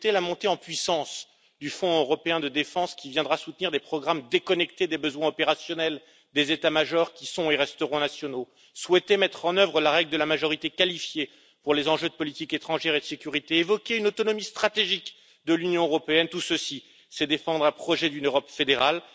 Souhaiter la montée en puissance du Fonds européen de défense qui viendra soutenir des programmes déconnectés des besoins opérationnels des états majors qui sont et resteront nationaux, souhaiter mettre en œuvre la règle de la majorité qualifiée pour les enjeux de politique étrangère et de sécurité, évoquer une autonomie stratégique de l'Union européenne, tout ceci c'est défendre un projet d'une Europe fédérale.